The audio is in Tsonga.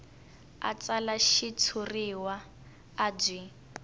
a tsala xitshuriwa a byi